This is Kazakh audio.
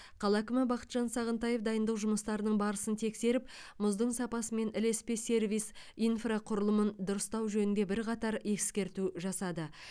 қала әкімі бақытжан сағынтаев дайындық жұмыстарының барысын тексеріп мұздың сапасы мен ілеспе сервис инфрақұрылымын дұрыстау жөнінде бірқатар ескерту жасады